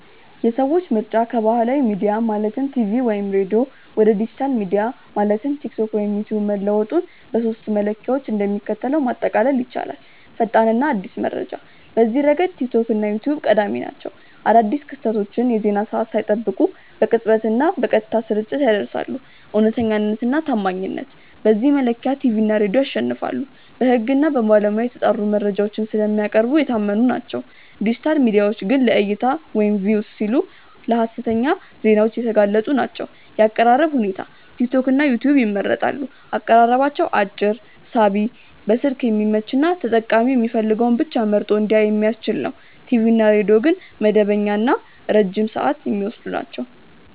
የሰዎች ምርጫ ከባህላዊ ሚዲያ (ቲቪ/ሬዲዮ) ወደ ዲጂታል ሚዲያ (ቲክቶክ/ዩትዩብ) መለወጡን በሦስቱ መለኪያዎች እንደሚከተለው ማጠቃለል ይቻላል፦ ፈጣንና አዲስ መረጃ፦ በዚህ ረገድ ቲክቶክ እና ዩትዩብ ቀዳሚ ናቸው። አዳዲስ ክስተቶችን የዜና ሰዓት ሳይጠብቁ በቅጽበትና በቀጥታ ስርጭት ያደርሳሉ። እውነተኛነትና ታማኝነት፦ በዚህ መለኪያ ቲቪ እና ሬዲዮ ያሸንፋሉ። በሕግና በባለሙያ የተጣሩ መረጃዎችን ስለሚያቀርቡ የታመኑ ናቸው፤ ዲጂታል ሚዲያዎች ግን ለዕይታ (Views) ሲሉ ለሀሰተኛ ዜናዎች የተጋለጡ ናቸው። የአቀራረብ ሁኔታ፦ ቲክቶክና ዩትዩብ ይመረጣሉ። አቀራረባቸው አጭር፣ ሳቢ፣ በስልክ የሚመች እና ተጠቃሚው የሚፈልገውን ብቻ መርጦ እንዲያይ የሚያስችል ነው። ቲቪ እና ሬዲዮ ግን መደበኛና ረጅም ሰዓት የሚወስዱ ናቸው።